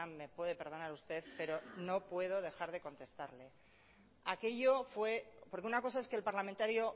me puede perdonar usted pero no puedo dejar de contestarle aquello fue porque una cosa es que el parlamentario